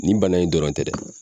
Nin bana in dɔrɔn tɛ dɛ